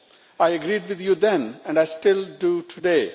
I agreed with you then, and I still do today.